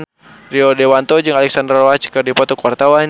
Rio Dewanto jeung Alexandra Roach keur dipoto ku wartawan